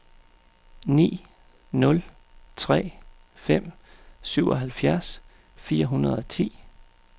ni nul tre fem syvoghalvfjerds fire hundrede og ti